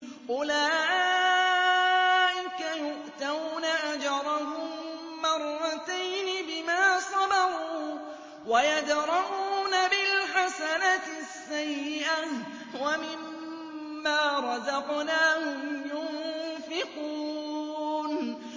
أُولَٰئِكَ يُؤْتَوْنَ أَجْرَهُم مَّرَّتَيْنِ بِمَا صَبَرُوا وَيَدْرَءُونَ بِالْحَسَنَةِ السَّيِّئَةَ وَمِمَّا رَزَقْنَاهُمْ يُنفِقُونَ